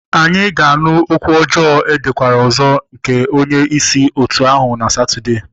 Anyị ga-anụ okwu ọjọọ edekwara ọzọ nke onye isi otu ahụ na Satọde.